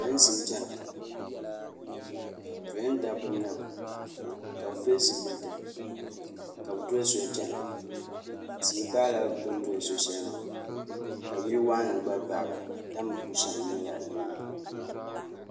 Polinsi n chɛna polin dabba nyɛba ka bi pili zipiliti ka bi doli soli chɛna tia baɣi la bini doli so shɛli maa ka yili wɔɣinli gba baɣi ba tambu bu shɛm nyɛ lala yili maa.